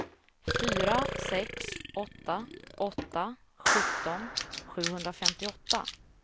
fyra sex åtta åtta sjutton sjuhundrafemtioåtta